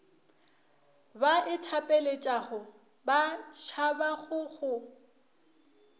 ba ithapeletšago ba tšhabago go